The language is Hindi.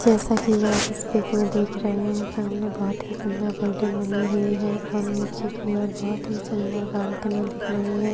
जैसा की आप इस पिक में देख रहे है सामने बहुत ही सुंदर बिल्डिंग बनी हुई है और नीचे की ओर बहुत ही सुंदर बालकनी दिख रही है।